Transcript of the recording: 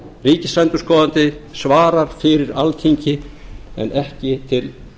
ríkisendurskoðandi svarar fyrir alþingi en ekki til